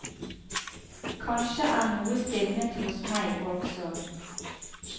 Kanskje er noe stivnet hos meg også.